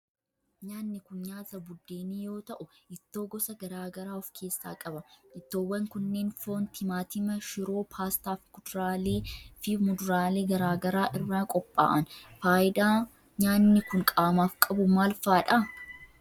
Nyaanni kun, nyaata buddeenii yoo ta'u, ittoo gosa garaa garaa of keessaa qaba. Ittoowwan kunneen foon, timaatima ,shiroo ,paastaa fi kuduraalee fi muduraalee garaa garaa irraa qopha'an. Faayidaan nyaanni kun, qaamaaf qabu maal faa dha?